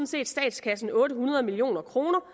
set statskassen otte hundrede million kroner